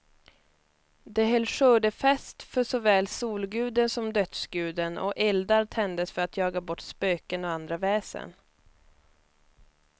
De höll skördefest för såväl solguden som dödsguden, och eldar tändes för att jaga bort spöken och andra väsen.